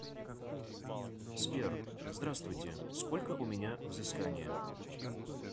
сбер здравствуйте сколько у меня взыскание